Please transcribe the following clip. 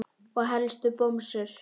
Og helst bomsur.